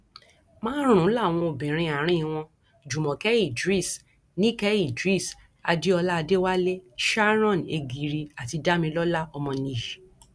márùnún làwọn obìnrin àárín wọn jùmọkẹ idris nike idris adéọlá adéwálé sharon egiri àti damilọla ọmọnìyí